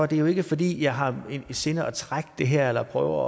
jo ikke fordi jeg har i sinde at trække det her eller prøver